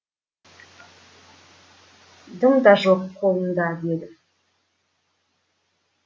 дым да жоқ қолында деді